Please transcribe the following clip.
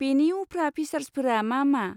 बेनि उफ्रा फिसार्सफोरा मा मा?